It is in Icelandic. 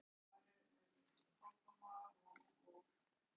Maximus, hvað heitir þú fullu nafni?